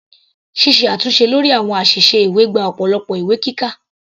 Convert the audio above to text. Ṣíṣe àtúnṣe lórí àwọn àṣìṣe ìwé gba ọ̀pọ̀lọpọ̀ ìwé kíkà.